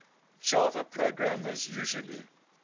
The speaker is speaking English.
java programmers usually